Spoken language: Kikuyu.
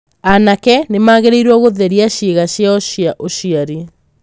Anake nĩ magĩrĩirũo gũtheria ciĩga ciao cia ũciari.